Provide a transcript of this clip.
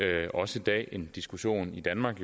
vi også i dag en diskussion i danmark